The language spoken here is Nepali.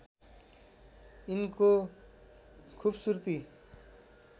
यिनको खूबसूरती